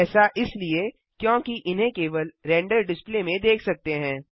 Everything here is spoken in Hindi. ऐसा इसलिए क्योंकि इन्हें केवल रेंडर डिस्प्ले में देख सकते हैं